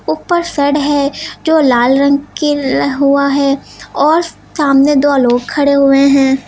ऊपर शेड है जो लाल रंग के हुआ है और सामने दो लोग खड़े हुए हैं।